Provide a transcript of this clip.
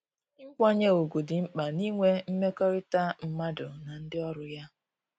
Nkwanye ugwu dị mkpa na inwe mmekọrịta mmadụ na ndị ọrụ ya